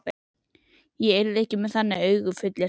Ég er ekki með þannig augu, fullyrti hann.